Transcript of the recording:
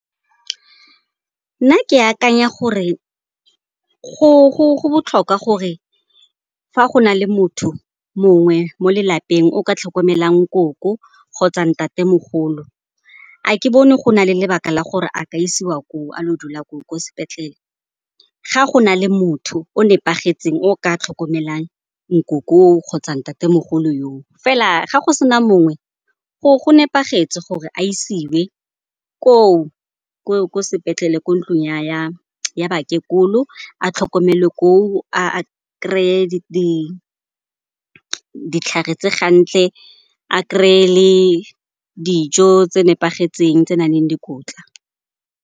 Nna ke akanya gore go botlhokwa gore fa go na le motho mongwe mo lelapeng o ka tlhokomelang koko kgotsa ntatemogolo. A ke bone go na le lebaka la gore a ka isiwa koo, a lo dula koo kwa sepetlele ga go na le motho o nepagetseng, o ka tlhokomelang nkoko yo o kgotsa ntatemogolo yo o. Fela ga go sena mongwe go nepagetse gore a isiwe koo ko sepetlele, ko ntlong ya bakekolo. Atlhokomelwa ko o a kry-e ditlhare tse gantle, a kry-e le dijo tse nepagetseng, tse nang le dikotla.